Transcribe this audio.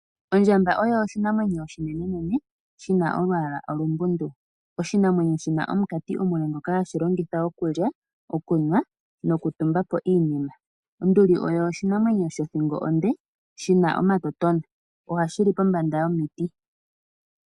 Ondjamba oyo oshinamwenyo oshinene nene, shina olwaala olumbundu, oshina omukati ngoka hashi longitha okulya, okunwa nosho woo okutumbapo iinima. Onduli osho oshinamwenyo shoka shina othingo onde, shina omatotona, ohashi li pombanda yomiti.